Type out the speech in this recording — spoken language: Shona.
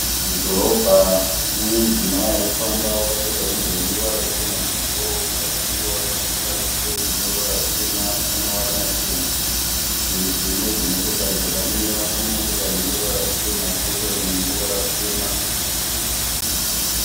Mudhorobha mune mudzimai arikufamba wakapfeka hembe ineruva ruchena kumusoro kuzasi wakapfeka siketi ine ruvara rutema namavara machena. Murutivi mune dzimotokari dzakamira . Pane motokari ine ruvara ruchena kwoita imwe ine ruvara rutema.